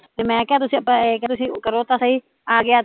ਤੇ ਮੈਂ ਕਿਹਾ ਤੁਸੀਂ ਕਰੋ ਤਾਂ ਸਹੀ ਆਗਿਆ ਤਾਂ ਠੀਕ ਐ